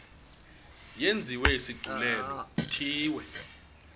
yenziwe isigculelo ithiwe